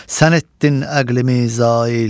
Sən etdin əqlimi zail.